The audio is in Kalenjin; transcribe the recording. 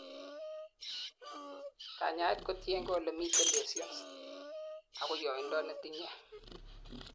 kanyaet kotiengei ole miten lesions ako yoindo netinyei